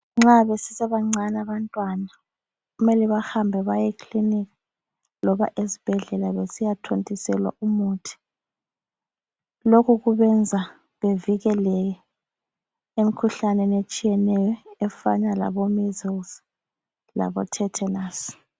Nxa besesebancane abantwana kumele bahambe baye ekilinika loba esibhedlela besiyathontiselwa umuthi. Lokhu kubenza bevikeleke emkhuhlaneni etshiyeneyo efana labo measles labo tetanus.